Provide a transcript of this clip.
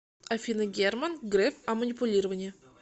афина герман греф о манипулировании